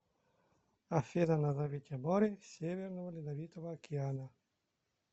афина назовите море северного ледовитого океана